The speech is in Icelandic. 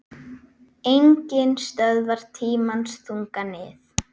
Enginn stöðvar tímans þunga nið